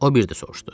O bir də soruşdu.